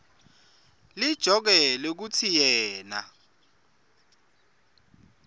lijoke lekutsi yena